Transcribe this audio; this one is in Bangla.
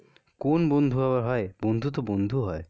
কোন বন্ধু আবার হয়? বন্ধু তো বন্ধু হয়.